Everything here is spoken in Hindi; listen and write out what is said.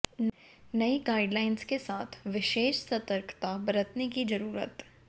नई गाइडलाइंस के साथ विशेष सतर्कता बरतने की जरूरत